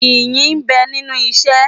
Iyì ń bẹ nínú isẹ́.